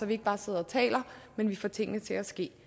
vi ikke bare sidder og taler men får tingene til at ske